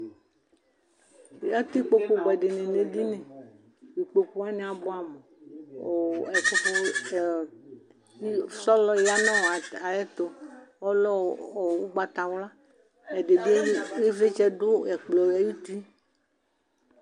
Atɛ ikpokʋ buɛdi ni nʋ edini Ikpokʋ wani abuamʋ, Ɔɔ Ɛkʋfo ɛɛ pilo, sɔlɔ ya nɔ ɔ ayɛ tʋ, ɔlɛ ɔ ʋgbatawla Ɛdi bi ivlitsɛ dʋ ɛkplɔ yɛ ayuti